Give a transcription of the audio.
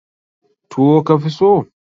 Tuwo ka fi so?